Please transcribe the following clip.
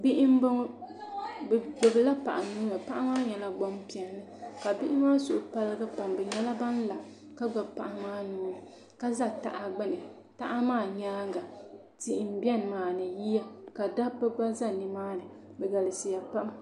bihi m-bɔŋɔ bɛ gbubila paɣa nuu ni paɣa maa nyɛla gbampiɛlli ka bihi maa suhu paligi pam bɛ nyɛla ban la ka gbubi paɣa maa nuu ni ka za taha gbuni taha maa nyaaŋga tihi m-beni maa ni yiya ka dabba gba za ni maani bɛ galisiya pam